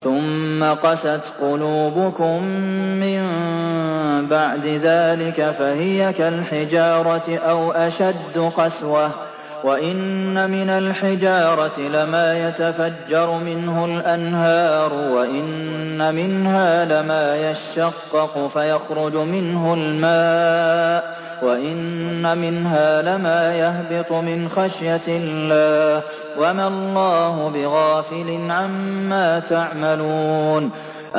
ثُمَّ قَسَتْ قُلُوبُكُم مِّن بَعْدِ ذَٰلِكَ فَهِيَ كَالْحِجَارَةِ أَوْ أَشَدُّ قَسْوَةً ۚ وَإِنَّ مِنَ الْحِجَارَةِ لَمَا يَتَفَجَّرُ مِنْهُ الْأَنْهَارُ ۚ وَإِنَّ مِنْهَا لَمَا يَشَّقَّقُ فَيَخْرُجُ مِنْهُ الْمَاءُ ۚ وَإِنَّ مِنْهَا لَمَا يَهْبِطُ مِنْ خَشْيَةِ اللَّهِ ۗ وَمَا اللَّهُ بِغَافِلٍ عَمَّا تَعْمَلُونَ